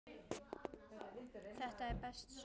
Þetta er best svona.